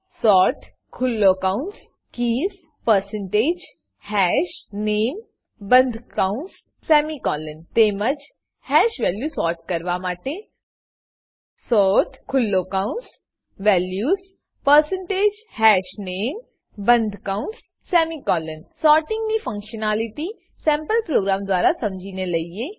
sort ખુલ્લો કૌંસ keys percentage hash name બંદ કૌંસ સેમિકોલોન તેમજ હેશ વેલ્યુ સોર્ટ કરવા માટે સોર્ટ ખુલ્લો કૌંસ વેલ્યુઝ પરસેન્ટેજ હશનામે બંદ કૌંસ સેમિકોલોન સોર્ટીંગની ફ્ન્ક્શનાલીટી સેમ્પલ પ્રોગામ દ્વારા સમજીને લઇએ